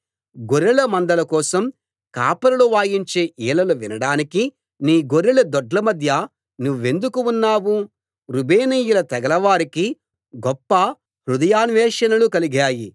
గొర్రెల మందల కోసం కాపరులు వాయించే ఈలలు వినడానికి నీ గొర్రెల దొడ్ల మధ్య నువ్వెందుకు ఉన్నావు రూబేనీయుల తెగల వారికి గొప్ప హృదయాన్వేషణలు కలిగాయి